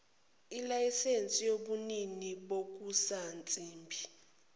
ilayisensi yobunini bokusansimbi